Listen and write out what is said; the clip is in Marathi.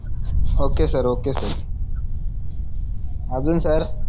ओक सर ओक सर आजून सर